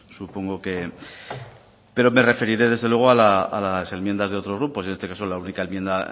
supongo que pero me referiré desde luego a las enmiendas de otros grupos y en este caso la única enmienda